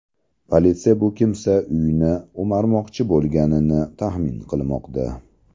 Politsiya bu kimsa uyni o‘marmoqchi bo‘lganini taxmin qilmoqda.